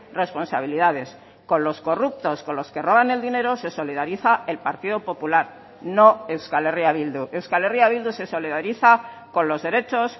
responsabilidades con los corruptos con los que roban el dinero se solidariza el partido popular no euskal herria bildu euskal herria bildu se solidariza con los derechos